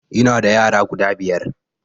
Ina da yara guda biyar